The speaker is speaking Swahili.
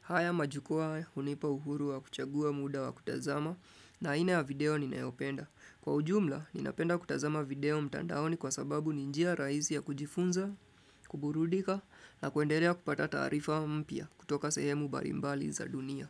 Haya majukua hae unipa uhuru wa kuchagua muda wa kutazama na aina ya video ninayopenda. Kwa ujumla, ninapenda kutazama video mtandaoni kwa sababu ni njia rahisi ya kujifunza, kuburudika na kuendelea kupata taarifa mpya kutoka sehemu mbalimbali za dunia.